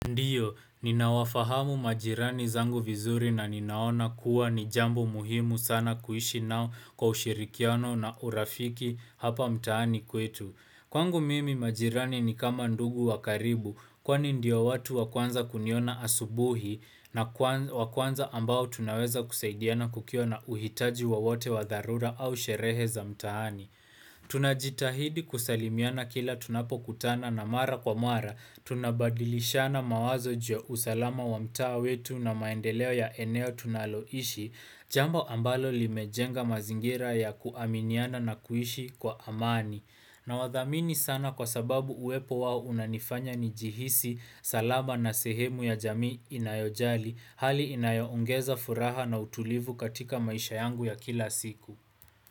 Ndio, ninawafahamu majirani zangu vizuri na ninaona kuwa ni jambo muhimu sana kuishi nao kwa ushirikiano na urafiki hapa mtaani kwetu. Kwangu mimi majirani ni kama ndugu wa karibu, kwani ndio watu wa kwanza kuniona asubuhi na wa kwanza ambao tunaweza kusaidiana kukiwa na uhitaji wowote wa dharura au sherehe za mtaani. Tunajitahidi kusalimiana kila tunapo kutana na mara kwa mara Tunabadilishana mawazo ju ya usalama wa mtaa wetu na maendeleo ya eneo tunaloishi Jambo ambalo limejenga mazingira ya kuaminiana na kuishi kwa amani Nawathamini sana kwa sababu uwepo wao unanifanya njihisi salama na sehemu ya jamii inayojali Hali inayoongeza furaha na utulivu katika maisha yangu ya kila siku.